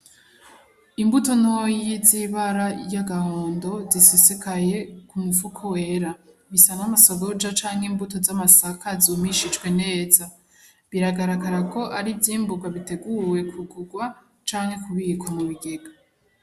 Imbuto ntoya z'ibara y'agahondo zisesekaye kumufuko wera bisa nk'amasoroja canke imbuto z'amasaka zumishijwe neza biragaragarako ar'ivyimbugwa biteguwe kugugwa canke kubikwa mubigega.